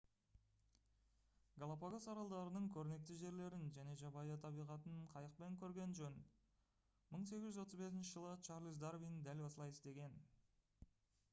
галапагос аралдарының көрнекті жерлерін және жабайы табиғатын қайықпен көрген жөн 1835 жылы чарльз дарвин дәл осылай істеген